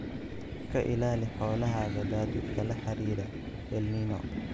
Ka ilaali xoolahaaga daadadka la xiriira El Niño.